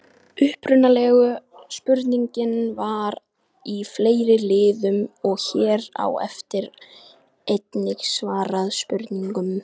Upprunalega spurningin var í fleiri liðum og hér á eftir er einnig svarað spurningunum: